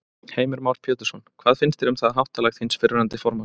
Heimir Már Pétursson: Hvað finnst þér um það háttalag þíns fyrrverandi formanns?